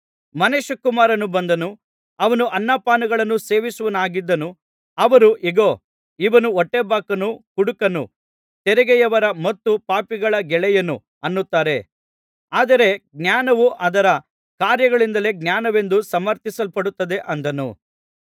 ಮನುಷ್ಯಕುಮಾರನು ಬಂದನು ಅವನು ಅನ್ನ ಪಾನಗಳನ್ನು ಸೇವಿಸುವವನಾಗಿದ್ದನು ಅವರು ಇಗೋ ಇವನು ಹೊಟ್ಟೆಬಾಕನು ಕುಡುಕನು ತೆರಿಗೆಯವರ ಮತ್ತು ಪಾಪಿಗಳ ಗೆಳೆಯನು ಅನ್ನುತ್ತಾರೆ ಆದರೆ ಜ್ಞಾನವು ಅದರ ಕಾರ್ಯಗಳಿಂದಲೇ ಜ್ಞಾನವೆಂದು ಸಮರ್ಥಿಸಲ್ಪಡುತ್ತದೆ ಅಂದನು